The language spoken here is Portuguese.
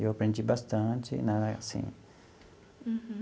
Eu aprendi bastante na assim. Uhum.